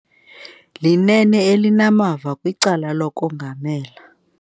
Linene elinamava kwicala lokongamela.